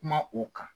Kuma o kan